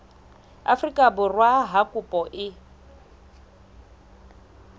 afrika borwa ha kopo e